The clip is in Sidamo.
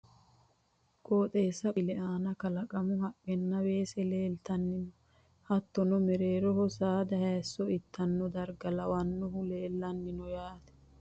qooxeessa qonce haa'noonni misile aana kalaqamu haqqenna weese leeltanni no. hattono mereeroho saada hayiisso ittanno darga lawannohu leelanni no yaate.